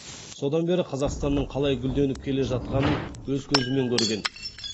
содан бері қазақстанның қалай гүлденіп келе жатқанын өз көзімен көрген